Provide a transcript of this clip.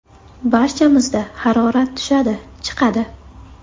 Barchamizda harorat tushadi, chiqadi.